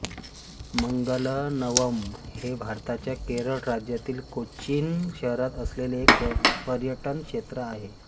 मंगलवनम हे भारताच्या केरळ राज्यातील कोचीन शहरात असलेले एक पर्यटन क्षेत्र आहे